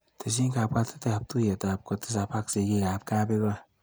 Tesyi kabwatetab tuiyetab kotisap ak sigiikap kabigoi.